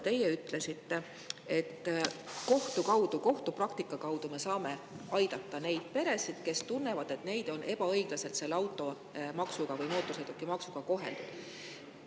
Te ütlesite, et kohtu kaudu, kohtupraktika kaudu me saame aidata neid peresid, kes tunnevad, et neid on ebaõiglaselt selle automaksuga ehk mootorsõidukimaksuga koheldud.